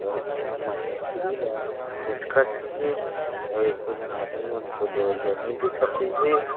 और इहां मछरी ल कोचकत थे अउ एको झन आदमी मन लेवाइयया नई दिखत थे।